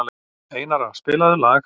Einara, spilaðu lag.